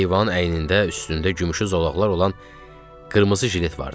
Heyvanın əynində üstündə gümüşü zolaqlar olan qırmızı jilet vardı.